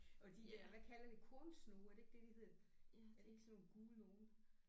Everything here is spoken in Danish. Og de der hvad kalder det kornsnoge er det ikke det de hedder. Er det ikke sådan nogle gule nogle